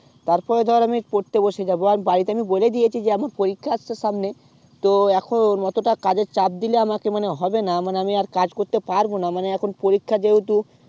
তারপরে ধর আমি পড়তে বসে যাবো আজ বাড়িতে আমি বলে দিয়েছি যে আমি পরীক্ষা আছে সামনে তো এখন এতটা কাজ এর চাপ দিলে আমাকে মানে হবেনা মানে আমি আর কাজ করতে পারবোনা মানে এখন পরীক্ষা যেহুতু